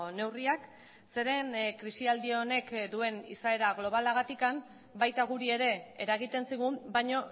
neurriak zeren krisialdi honek duen izaera globalagatik baita guri ere eragiten zigun baina